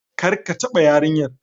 Kar ka taba yarinyar!